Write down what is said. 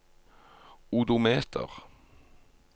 odometer